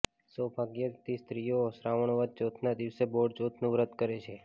સૌભાગ્યવતી સ્ત્રીઓ શ્રાવણ વદ ચોથના દિવસે બોળચોથનું વ્રત કરે છે